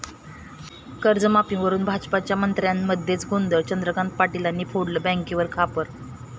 कर्जमाफीवरुन भाजपच्या मंत्र्यांमध्येच गोंधळ, चंद्रकांत पाटलांनी फोडलं बँकावरच खापर!